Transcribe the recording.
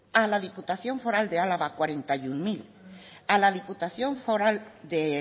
a la diputación foral de álava cuarenta y uno mil a la diputación foral de